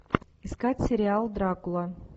искать сериал дракула